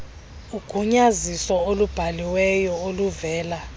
ugunyaziso olubhaliweyo oluvela